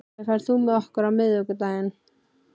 Hlölli, ferð þú með okkur á miðvikudaginn?